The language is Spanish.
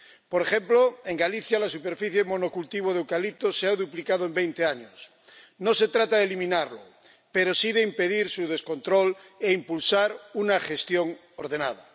Por ejemplo, en Galicia, la superficie de monocultivo de eucalipto se ha duplicado en veinte años. No se trata de eliminarlo, pero sí de impedir su descontrol e impulsar una gestión ordenada.